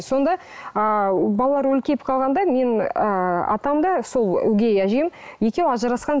сонда ы балалар үлкейіп қалғанда мен ы атам да сол өгей әжем екеуі ажырасқан